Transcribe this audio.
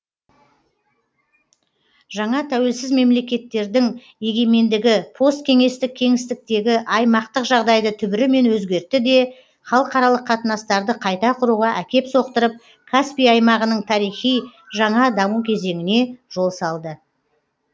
жаңа тәуелсіз мемлекеттердің егемендігі посткеңестік кеңістіктегі аймақтық жағдайды түбірімен өзгертті де халықаралық қатынастарды қайта құруға әкеп соқтырып каспий аймағының тарихи жаңа даму кезеңіне жол салды